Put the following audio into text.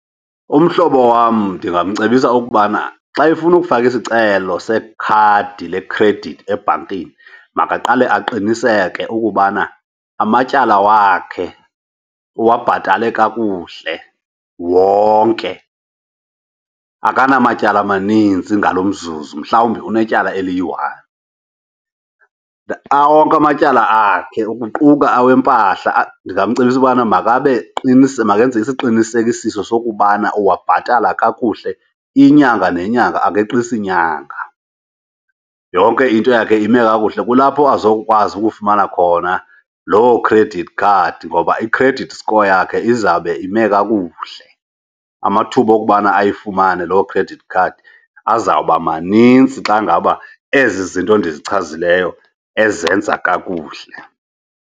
Umhlobo wam ndingamcebisa ukubana xa efuna ukufaka isicelo sekhadi lekhredithi ebhankini, makaqale aqiniseke ukubana amatyala wakhe uwabhatale kakuhle wonke akanamatyala amanintsi ngalo mzuzu mhlawumbi unetyala eliyiwani. Awonke amatyala akhe ukuquka awempahla, ndingamcebisa ubana makabe makenze isiqinisekiso sokubana uwabhatala kakuhle inyanga nenyanga, akeqisi nyanga yonke into yakhe ime kakuhle. Kulapho azokwazi ukufumana khona loo credit card ngoba i-credit score yakhe izawube ime kakuhle. Amathuba okubana ayifumane loo credit card azawuba maninzi xa ngaba ezi zinto ndichaze yileyo ezenza kakuhle.